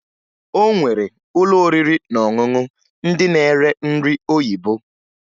O nwere ụlọ oriri na ọṅụṅụ ndị na-ere nri oyibo